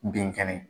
Bin kɛnɛ